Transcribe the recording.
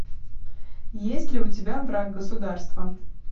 есть ли у тебя враг государства